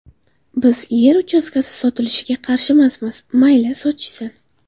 Biz yer uchastkasi sotilishiga qarshimasmiz, mayli, sotishsin.